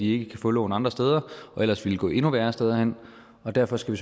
ikke kan få lån andre steder og ellers ville gå endnu værre steder hen derfor skal